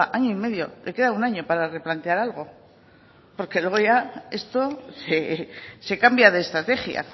oiga año y medio le queda un año para replantear algo porque luego ya esto se cambia de estrategia